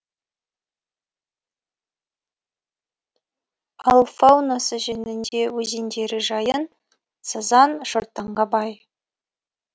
ал фаунасы жөнінде өзендері жайын сазан шортанға бай